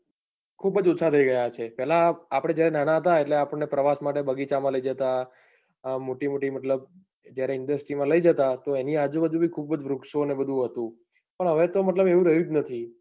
ખુબ જ ઓછા થઇ ગયા છે, પેલા આપડે જયારે નાના હતા ત્યારે પ્રવેશ માટે બગીચા માં લઇ જતા. મોટી મોટી મતલબ industries માં લઇ જતા એની આજુબાજુ માં ખુબ જ વૃક્ષઓ બધું હતું. પણ હવે તો મતલબ એવું રહ્યું જ નથી,